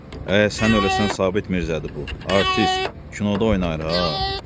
Əə, sən öləsən Sabit Mirzədir bu, artist, kinoda oynayır ha.